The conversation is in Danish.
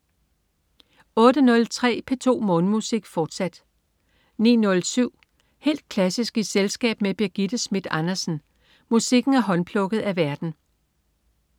08.03 P2 Morgenmusik, fortsat 09.07 Helt klassisk i selskab med Birgitte Schmidt Andersen. Musikken er håndplukket af værten